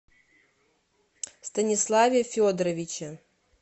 станиславе федоровиче